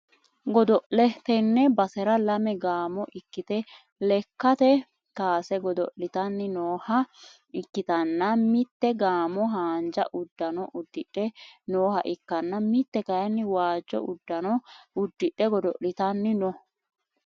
godo'le, tenne basera lame gaamo ikkite lekkate kaase godo'litanni nooha ikkitanna, mitte gaamo haanja uddano uddidhe nooha ikkanna mitte kayiinni waajjo uddano uddidhe godo'litanni no.